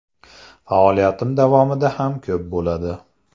Faoliyatim davomida ham ko‘p bo‘ladi.